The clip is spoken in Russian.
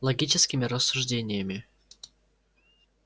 логическими рассуждениями